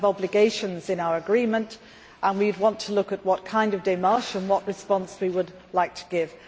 We have obligations in our agreement and we would want to look at what kind of démarches to take and what response we would like to give.